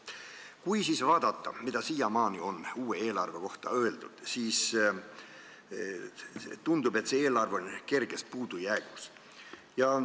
Kui vaadata, mida siiamaani on uue eelarve kohta öeldud, siis tundub, et eelarve on kerges puudujäägis.